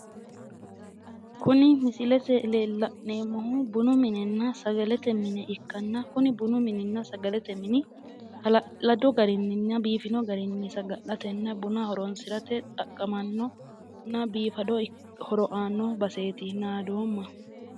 Kuni misilete iimma la'neemmohu bunu minenna sagalete mine ikkanna, kuni bunu mininna sagalete mini halaaladu garinna biifino garinni saga'latenna buna horonsi'rate xaqqamanno biifado horo aanno baseeti naadoomma